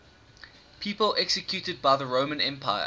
people executed by the roman empire